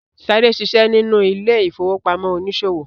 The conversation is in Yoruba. Sade ṣiṣẹ nínú ile-ifowopamọ oniṣòwo.